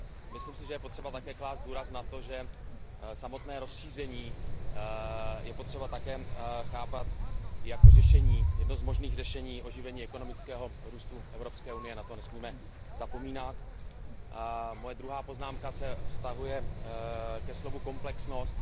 Myslím si, že je také potřeba klást důraz na to, že samotné rozšíření je potřeba také chápat jako jedno z možných řešení oživení ekonomického růstu Evropské unie, na to nesmíme zapomínat. Moje druhá poznámka se vztahuje ke slovu komplexnost.